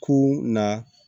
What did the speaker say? Ku na